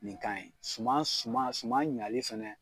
Nin kan ye suman suman suman ɲali fɛnɛ